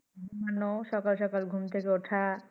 ঘুমানো, সকাল সকাল ঘুম থেকে উঠা।